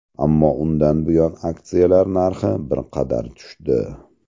Ammo undan buyon aksiyalar narxi bir qadar tushdi.